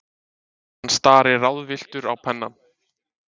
Hann starir ráðvilltur á pennann.